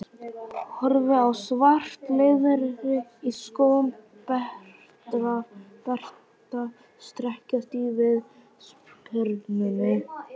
Horfi á svart leðrið í skóm Berta strekkjast í viðspyrnunni.